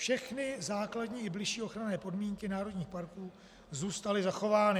Všechny základní i bližší ochranné podmínky národních parků zůstaly zachovány.